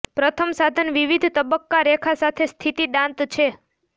પ્રથમ સાધન વિવિધ તબક્કા રેખા સાથે સ્થિતિ દાંત છે